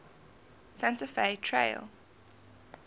santa fe trail